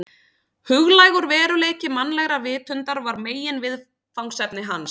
Huglægur veruleiki mannlegrar vitundar var meginviðfangsefni hans.